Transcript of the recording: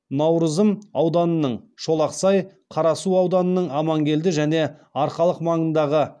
наурызым ауданының шолақсай қарасу ауданының амангелді және арқалық маңындағы